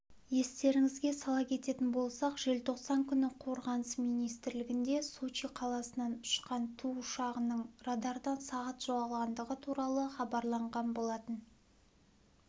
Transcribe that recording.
естеріңізге сала кететін болсақ желтоқсан күні қорғаныс министрлігінде сочи қаласынан ұшқан ту ұшағының радардан сағат жоғалғандығы туралы хабарланған болатын